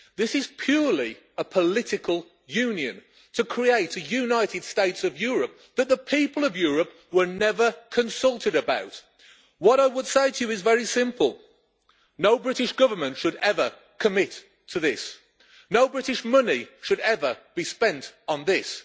This is purely a political union to create a United States of Europe that the people of Europe were never consulted about. What I would say to you is very simple no British Government should ever commit to this. No British money should ever be spent on this.